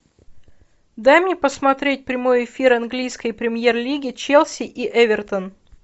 дай мне посмотреть прямой эфир английской премьер лиги челси и эвертон